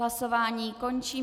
Hlasování končím.